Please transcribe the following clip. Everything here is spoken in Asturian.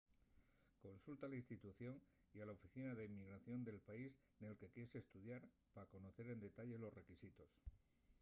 consulta a la institución y a la oficina d’inmigración del país nel que quies estudiar pa conocer en detalle los requisitos